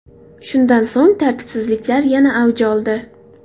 Shundan so‘ng tartibsizliklar yana avj oldi.